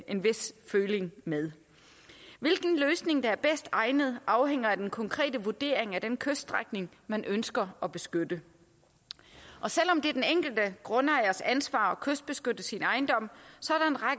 en vis føling med hvilken løsning der er bedst egnet afhænger af den konkrete vurdering af den kyststrækning man ønsker at beskytte og selv om det er den enkelte grundejers ansvar at kystbeskytte sin ejendom